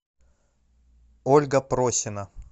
ольга просина